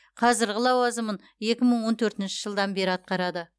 қазіргі лауазымын екі мың он төртінші жылдан бері атқарады